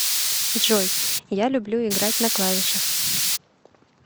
джой я люблю играть на клавишах